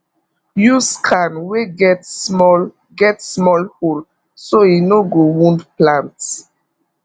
use can wey get small get small hole so e no go wound plant